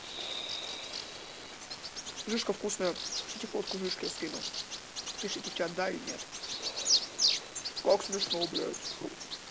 жижка вкусная хотите фотку жижки скину пишите в чат да или нет как смешно блять